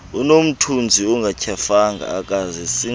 unomthunzi akatyhafanga akazisingeli